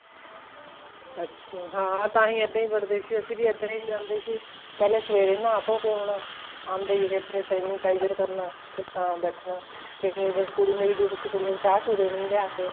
ਅੱਛਾ ਹਾਂ ਤਾਂਹੀ ਇੱਦਾਂ ਵੀ ਵੜਦੇ ਸੀ ਅਸੀਂ ਵੀ ਇੱਦਾਂ ਹੀ ਜਾਂਦੇ ਸੀ ਪਹਿਲਾਂ ਸਵੇਰੇ ਨਹਾਹ ਧੋਹ ਕੇ ਆਉਣਾ ਆਂਦੇ ਹੀ ਇੱਥੇ sanitizer ਕਰਨਾ ਤਾਂ ਬੈਠਣਾ ਫ਼ੇਰ ਕੁੜੀ ਮੇਰੀ duty ਸੀ ਕੁੜੀਆਂ ਨੂੰ ਚਾਹ ਚੂਹ ਦੇਣੀ ਲਿਆਕੇ